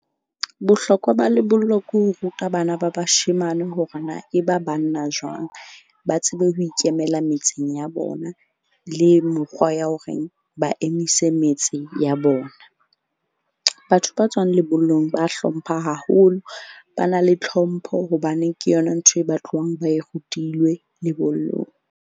Bohlokwa ba lebollo ke ho ruta bana ba bashemane hore na e ba banna jwang. Ba tsebe ho ikemela metseng ya bona, le mokgwa ya horeng ba emise metse ya bona. Batho ba tswang lebollong ba hlompha haholo. Ba na le tlhompho hobane ke yona ntho e ba tlohang ba e rutilwe lebollong.